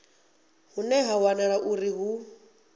hune ha wanala uri hu